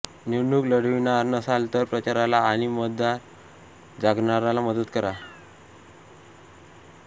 निवडणूक लढविणार नसाल तर प्रचाराला आणि मतदाताजागरणाला मदत करा